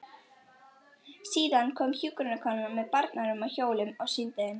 Síðan kom hjúkrunarkonan með barnarúm á hjólum og sýndi þeim.